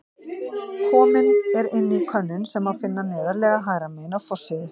Komin er inn ný könnun sem má finna neðarlega hægra megin á forsíðu.